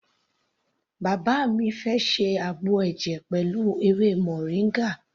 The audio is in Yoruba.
Bàbá mi fẹ́ ṣe àgbo ẹ̀jẹ̀ pẹ̀lú ewé moringa.